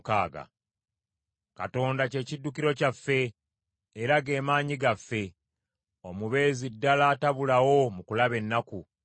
Katonda kye kiddukiro kyaffe, era ge maanyi gaffe; omubeezi ddala atabulawo mu kulaba ennaku.